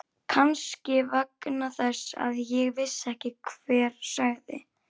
Kannski vegna þess að ég vissi ekki hver sagði.